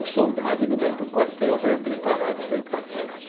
O soldado ele vai para o quartel pre preparado para ir para a guerra.